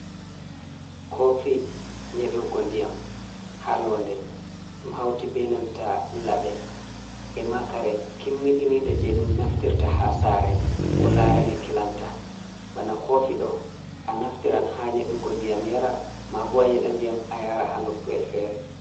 Koofi nyeɗugo ndiyam haa loonde, ɗum hawti benanta laɓe ema kare kimmiɗiniɗe. Jey ɗum naftirta haa saare, ko laarani kilanta ,bana koofi ɗo a naftiran haa nyeɗugo ndiyam yara, maabo a nyeɗa ndiyam a yara haa nokkuyel feere.